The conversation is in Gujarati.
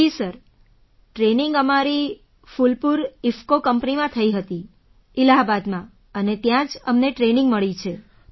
જી સર ટ્રેનિંગ અમારી ફૂલપુર ઇફ્કૉ કંપનીમાં થઈ હતી ઇલાહાબાદમાં અને ત્યાં જ અમને ટ્રેનિંગ મળી છે